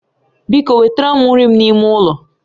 Biko wetere m nri m n'ime ulo